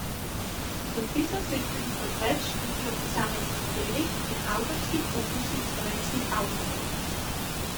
Podpisal se je tudi pod več študij o posameznih delih in avtorskih opusih slovenskih avtorjev.